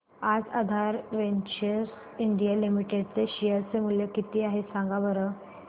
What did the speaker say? आज Aadhaar ventures India limited चे share चे मूल्य किती आहे सांगा बरं